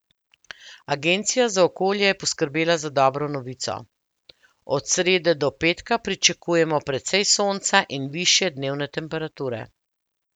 Agencija za okolje je poskrbela za dobro novico: ''Od srede do petka pričakujmo precej sonca in višje dnevne temperature''.